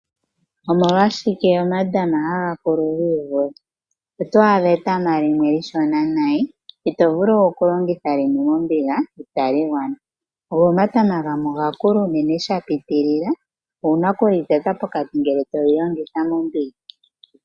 Omolwashike omatama haga mene giivule .oto adha etama lime eshona nayi itovulu kulongitha lime mombiga itali gwana .go omatama gamwe omanene unene shapitilila owuna okuli teta pokati ngele toli longitha mombiga